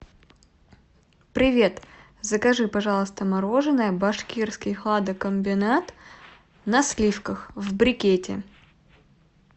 привет закажи пожалуйста мороженое башкирский хладокомбинат на сливках в брикете